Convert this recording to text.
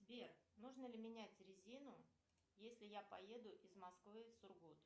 сбер нужно ли менять резину если я поеду из москвы в сургут